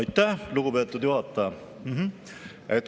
Aitäh, lugupeetud juhataja!